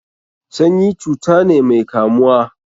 Sanyi cuta ne mai kamuwa.